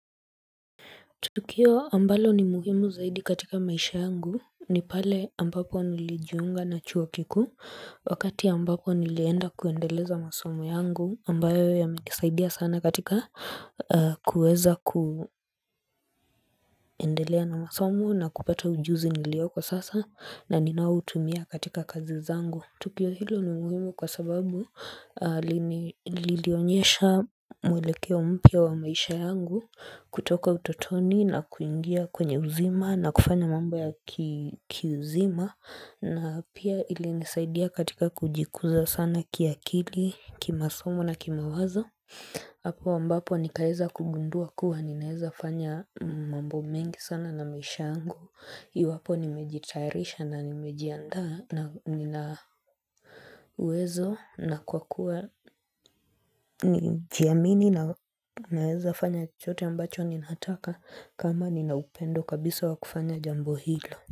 Tukio ambalo ni muhimu zaidi katika maisha yangu ni pale ambapo nilijiunga na chuo kikuu wakati ambapo nilienda kuendeleza masomo yangu ambayo ya mekisaidia sana katika kuweza ku kuendelea na masomo na kupata ujuzi niliyoko sasa na ninautumia katika kazi zangu. Tukio hilo ni muhimu kwa sababu lilionyesha mwelekeo mpya wa maisha yangu kutoka utotoni na kuingia kwenye uzima na kufanya mambo ya kiuzima na pia ili nisaidia katika kujikuza sana kia kili, kimasomo na kima wazo. Apo mbapo nikaeza kugundua kuwa ninaeza fanya mambo mengi sana na maisha yangu Iwapo nimejitayarisha na nimejianda na nina uwezo na kwa kuwa nijiamini na naeza fanya chote ambacho ninaataka kama ninaupendo kabisa wakufanya jambo hilo.